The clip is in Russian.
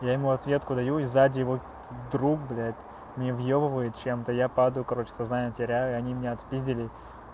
я ему ответку даю и зади его друг блять мне въёбывает чем-то я падаю короче сознание теряю они меня отпиздили